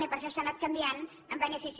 i per això s’ha anat canviant en benefici